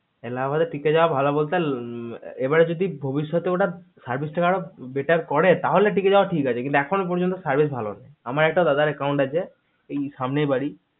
এলাহাবাদে টিকে যাওয়া টা ভালো বলতে এবারে যদি ভবিৎষতে ওটা service টা better করে তাহলে টিকে যাওয়া ঠিক আছে এখনো পযন্ত service আর ভালো না হলে আমার একটা দাদা র account আছে এই সামনেই বাড়ি সামনেই